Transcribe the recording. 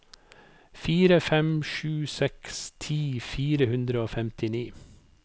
fire fem sju seks ti fire hundre og femtini